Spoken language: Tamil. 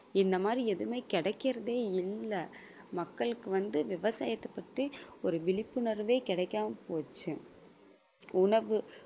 இந்த மாதிரி எதுவுமே கிடைக்கிறதே இல்ல மக்களுக்கு வந்து விவசாயத்தைப் பற்றி ஒரு விழிப்புணர்வே கிடைக்காமல் போச்சு உணவு